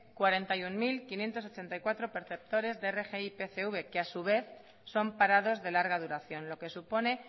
cuarenta y uno mil quinientos ochenta y cuatro perceptores de rgi pcv que a su vez son parados de larga duración lo que supone